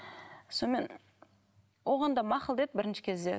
сонымен оған да мақұл деді бірінші кезде